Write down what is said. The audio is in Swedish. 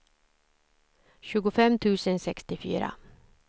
tjugofem tusen sextiofyra